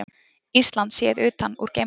Ísland séð utan úr geimnum.